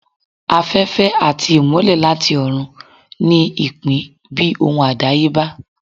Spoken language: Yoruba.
Afẹfẹ ati imọlẹ latí orun ní ipin bi ohun adayeba.